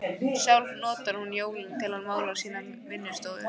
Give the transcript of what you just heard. Sjálf notar hún jólin til að mála sína vinnustofu.